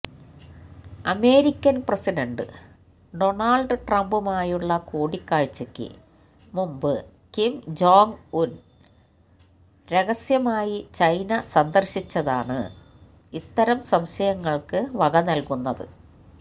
American president Donald ട്രംപുമായുള്ള കൂടിക്കാഴ്ചയ്ക്ക് മുമ്പ് കിം ജോങ് ഉന് രഹസ്യമായി ചൈന സന്ദര്ശിച്ചതാണ് ഇത്തരം സംശയങ്ങള്ക്ക് വകനല്കുന്നത്